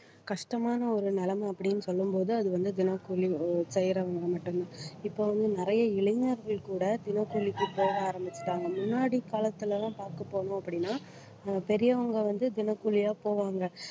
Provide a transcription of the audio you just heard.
கஷ்டமான ஒரு நிலைமை அப்படின்னு சொல்லும் போது அது வந்து தினக்கூலி ஒ~ செய்யறவங்க மட்டும்தான். இப்ப வந்து நிறைய இளைஞர்கள் கூட தினக்கூலிக்கு போக ஆரம்பிச்சுட்டாங்க. முன்னாடி காலத்துல எல்லாம் பார்க்க போனோம் அப்படின்னா அஹ் பெரியவங்க வந்து தினக்கூலியா போவாங்க